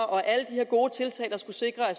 og alle de her gode tiltag der skal sikre at